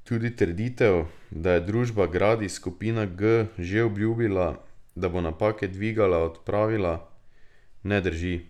Tudi trditev, da je družba Gradis skupina G že obljubila, da bo napake dvigala odpravila, ne drži.